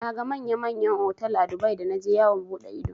Naga manya manyan otal a Dubai da naje yawon buɗe ido.